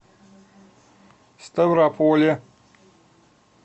ставрополе